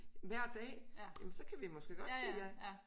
Hver dag ja men så kan vi måske godt sige ja